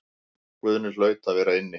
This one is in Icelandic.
Guðni hlaut að vera inni.